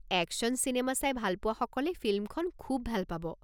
Action চিনেমা চাই ভালপোৱাসকলে ফিল্মখন খুউব ভাল পাব।